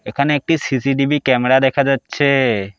এখানে একটি CCTV camera দেখা যাচ্ছে।